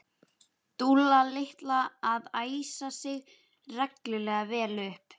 Dúlla litla að æsa sig reglulega vel upp.